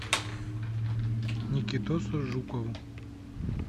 никитосу жукову